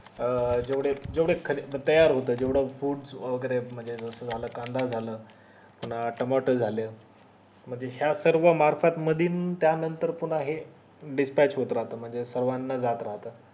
अं जेवढे तयार होत जेवढ foods वैगेरे म्हणजे जस कांदा झालं पुन्हा टमाटर झालं म्हणजे त्या नंतर पुन्हा हे dispatch म्हणजे सर्वाना जात राहत